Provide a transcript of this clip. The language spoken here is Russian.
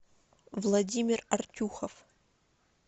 владимир артюхов